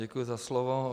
Děkuji za slovo.